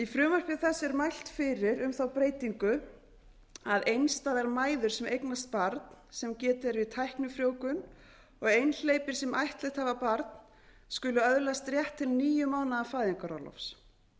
í frumvarpi þessu er mælt fyrir um þá breytingu að einstæðar mæður sem eignast barn sem getið er við tæknifrjóvgun og einhleypir sem ættleitt hafa barn skuli öðlast rétt til níu mánaða fæðingarorlofs